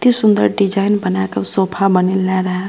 एते सुन्दर डिज़ाइन बना के सोफा बनेला रहे।